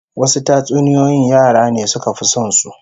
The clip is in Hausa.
Wasu tatsuniyoyin yara ne suka fi son su